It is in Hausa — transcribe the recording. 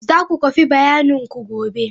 Za ku kwafi bayananku gobe.